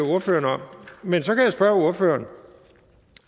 ordføreren om men så kan jeg spørge ordføreren